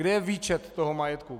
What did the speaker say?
Kde je výčet toho majetku?